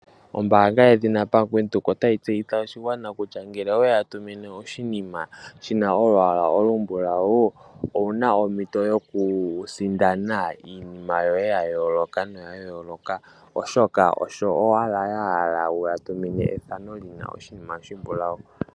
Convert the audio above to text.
Ombaanga yedhina Bank Windhoek otayai tseyithile oshigwana kutya ngele oweya tumine oshinima shina olwaala olumbulawu owuna ompito yoku sindana iinima ya yooloka, oshpka osho owala ya hala wuya tumine ethano lina oshinima oshimbulawu.